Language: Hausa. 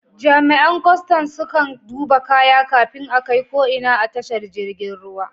Jami'an kwastan sukan duba kaya kafin a kai ko ina a tashar jirgin ruwa.